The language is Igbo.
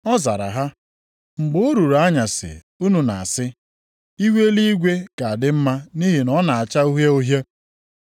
Ọ zara ha, “Mgbe o ruru anyasị unu na-asị, ‘Ihu eluigwe ga-adị mma nʼihi na ọ na-acha uhie uhie.’